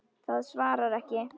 Það svarar ekki.